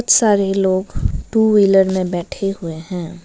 सारे लोग two wheeler में बैठे हुए हैं।